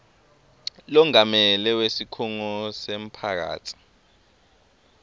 longamele wesikhungo semphakatsi